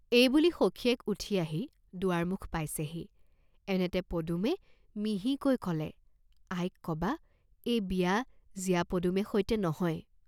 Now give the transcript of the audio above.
এই বুলি সখীয়েক উঠি আহি দুৱাৰ মুখ পাইছেহি, এনেতে পদুমে মিহিকৈ কলে, "আইক কবা, এই বিয়া জীয়া পদুমে সৈতে নহয়!